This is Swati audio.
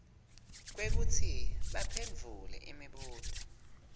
kwekutsi baphendvule imibuto